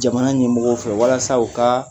Jamana ɲɛmɔgɔw fɛ walasa u ka